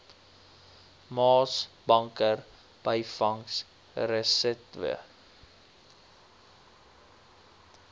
maasbanker byvangs resetwe